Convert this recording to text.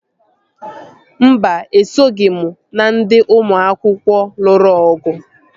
Mba, esoghị m na ndị ụmụ akwụkwọ lụrụ ọgụ